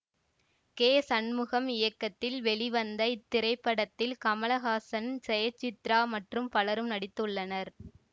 K Shanmugam இயக்கத்தில் வெளிவந்த இத்திரைப்படத்தில் கமலஹாசன் ஜெயசித்ரா மற்றும் பலரும் நடித்துள்ளனர்